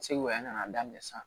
Segu yan ka n'a daminɛ sisan